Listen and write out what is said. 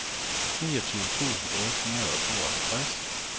niogtyve tusind otte hundrede og tooghalvtreds